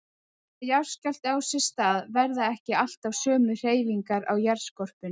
Þegar jarðskjálfti á sér stað verða ekki alltaf sömu hreyfingar á jarðskorpunni.